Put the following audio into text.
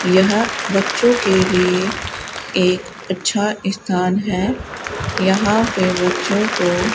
यह बच्चों के लिए एक अच्छा स्थान है यहां पे बच्चों को--